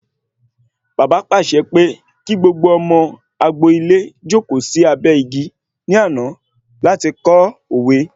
Bàbá pàṣẹ pé kí gbogbo ọmọ agbo-ilé jókòó sí abẹ́ igi ní àná láti kọ́ òwe